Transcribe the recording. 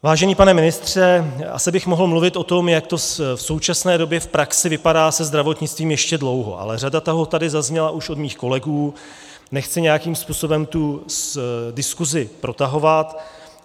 Vážený pane ministře, asi bych mohl mluvit o tom, jak to v současné době v praxi vypadá se zdravotnictvím, ještě dlouho, ale řada toho tady zazněla už od mých kolegů, nechci nějakým způsobem tu diskusi protahovat.